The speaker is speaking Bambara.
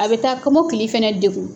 A bɛ taa kɔmɔkili fana dekun.